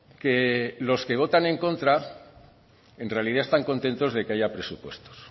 que los que votan en contra en realidad están contentos de que haya presupuestos